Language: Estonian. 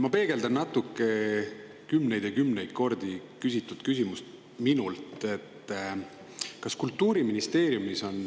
Ma peegeldan veel kord kümneid ja kümneid kordi küsitud küsimust.